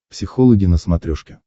психологи на смотрешке